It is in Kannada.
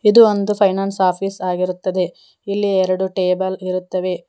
ಇದು ಒಂದು ಫೈನಾನ್ಸ್ ಆಫೀಸ್ ಆಗಿರುತ್ತದೆ ಇಲ್ಲಿ ಎರಡು ಟೇಬಲ್ ಇರುತ್ತವೆ.